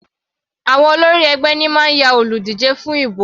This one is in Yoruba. Àwọn olórí ẹgbẹ́ ní máa ń yan olùdíje fún ibò.